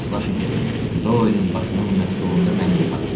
Razılaşın ki, Doylin başının məhsulunda mənim də payım var.